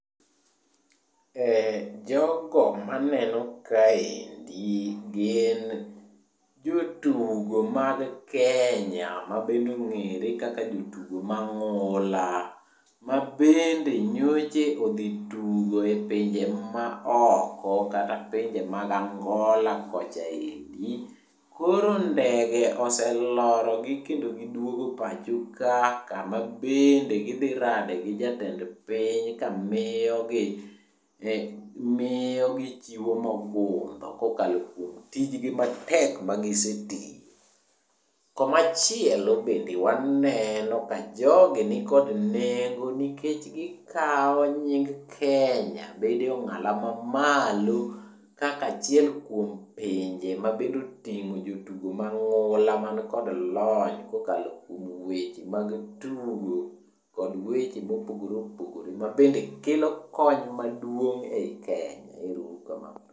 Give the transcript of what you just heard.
Jogo maneno kaendi gin jotugo mag Kenya mabende ongere kaka jotugo mang'ula mabende nyocha odhi tugo e pinje ma oko kata pinje mag Angola kocha endi. Koro ndege oselorogi kendo giduogo pachoka kama bende gidhi rade gi jatend piny ka miyogi ,miyogi chiwo mogundho kokalo kuom tijgi matek ma gisechiwo. Komachielo bende waneno ka jogi nigod nengo nikech gikaw nying Kenya bedo e ongalo mamalo kaka achiel kuom pinje mabende otingo jotugo ma ngula manikod lony kokalo kuom weche mag tugo kod weche ma opogore opogore mabende kelo kony maduong ei Kenya. Erouru kamano